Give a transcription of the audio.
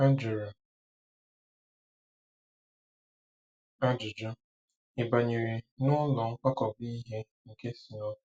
A jụrụ ajụjụ: “Ị̀ banyere n’ụlọ nkwakọba ihe nke snow?”